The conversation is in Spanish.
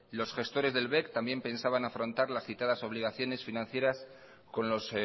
los gestores del bec también pensaban afrontar las citadas obligaciones financieras con los